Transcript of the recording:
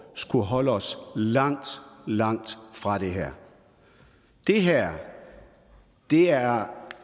skulle holde os langt langt fra det her det her er